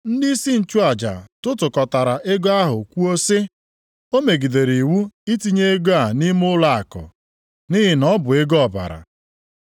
Ndịisi nchụaja tụtụkọtara ego ahụ kwuo sị, “O megidere iwu itinye ego a nʼime ụlọakụ, nʼihi na ọ bụ ego ọbara.”